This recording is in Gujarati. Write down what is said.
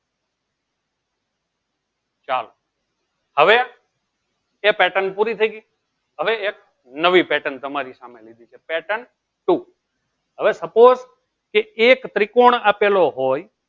ચાલો હવે એ pattern પૂરી થઈ ગઈ હવે એક નવી pattern તમારી સાથે લીધી છે pattern two હવે suppose કે એક ત્રિકોણ આપેલો હોય